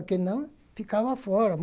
O que não, ficava fora.